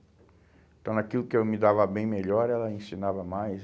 Então, naquilo que eu me dava bem melhor, ela ensinava mais.